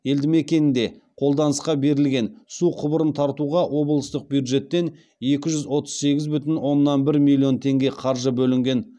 елдімекенінде қолданысқа берілген су құбырын тартуға облыстық бюджеттен екі жүз отыз сегіз бүтін оннан бір миллион теңге қаржы бөлінген